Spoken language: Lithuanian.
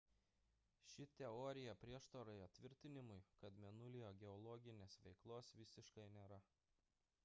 ši teorija prieštarauja tvirtinimui kad mėnulyje geologinės veiklos visiškai nėra